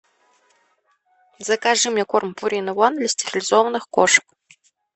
закажи мне корм пурина ван для стерилизованных кошек